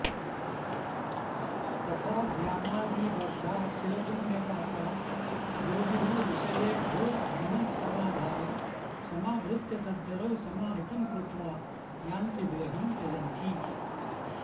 तथा ज्ञानाग्निदग्धाखिलपुण्यपापा योगिनो विषयेभ्यो मनः समाधाय समाहृत्य तद्धरौ समाहितं कृत्वा यान्ति देहं त्यजन्ति